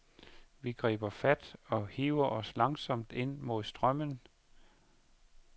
Vi griber fat og hiver os langsomt ind mod strømmen.